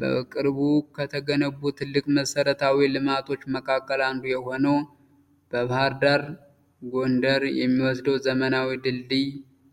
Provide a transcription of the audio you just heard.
በቅርቡ ከተገነቡ ትልቅ መሰረተታዊ ልማቶች መካከል አንዱ የሆነው ከባህር ዳር ጎንደር የሚወስደው ዘመናዊ ድልድይ